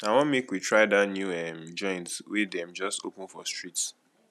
i wan make we try dat new um joint wey dem just open for street